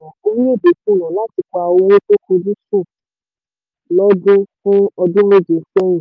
orílẹ̀-èdè kùnà láti pa owó tó fojúsùn lọ́dún fún ọdún méje sẹ́yìn